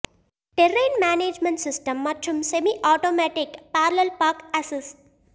terrain management system மற்றும் semi automatic parallel park assist